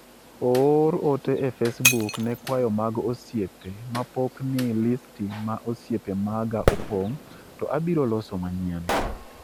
oor ote e facebook ne kwayo mag osiepe mapok ni listi ma osiepe maga opong' to abiro loso manyien